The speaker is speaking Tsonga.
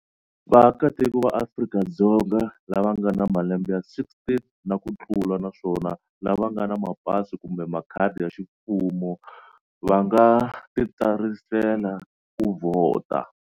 Vaakatiko va Afrika-Dzonga lava nga na malembe ya 16 na ku tlula naswona lava nga na mapasi kumbe makhadi ya ximfumo va nga titsarisela ku vhota.